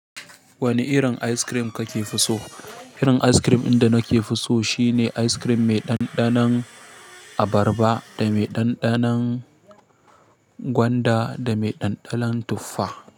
Wane irin ice cream ka ke so? Irin ice cream din da na ke fi so shi ne ice cream mai ɗanɗanon abarba da mai ɗanɗanon gwanda da mai ɗanɗanon tuffa.